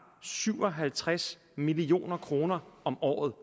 syv og halvtreds million kroner om året